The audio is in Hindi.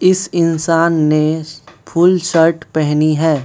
इस इंसान ने फुल शर्ट पहनी है।